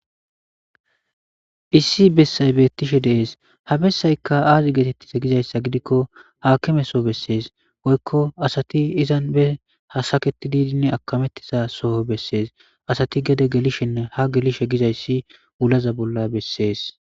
Issi bessay beettishe dees habessaykka aazi geetettisa gizayssa gidikko haakime so bessees woykko asati izan be hasaketi diidinn akamettisa soho bessees asati gede gelishenne ha gelishe gizayssi ulaza bolla bessees.